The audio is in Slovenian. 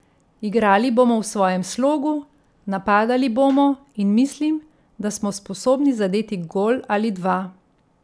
Igrali bomo v svojem slogu, napadali bomo, in mislim, da smo sposobni zadeti gol ali dva.